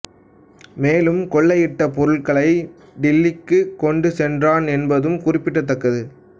மேலும் கொள்ளையிட்ட பொருள்களை டில்லிக்குக் கொண்டு சென்றான் என்பதும் குறிப்பிடத்தக்கது